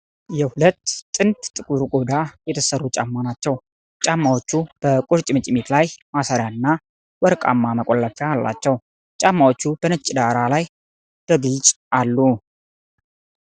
የሁለት ጥንድ ጥቁር ቆዳ የተሰሩ ጫማ ናቸው። ጫማዎቹ በቁርጭምጭሚት ላይ ማሰሪያና ወርቃማ መቆለፊያ አላቸው። ጫማዎቹ በነጭ ዳራ ላይ በግልጽ አሉ።